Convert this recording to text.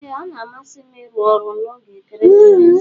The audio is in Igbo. Ee ọna amasim irụ ọrụ na oge ekeresimesi.